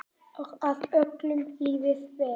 Og að öllum liði vel.